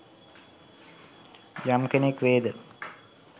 යම් කෙනෙක් වේද